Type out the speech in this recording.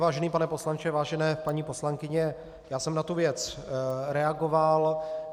Vážený pane poslanče, vážené paní poslankyně, já jsem na tu věc reagoval.